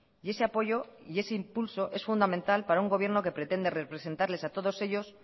y ese apoyo y ese impulso es fundamental para un gobierno que pretende representarles a todos ellos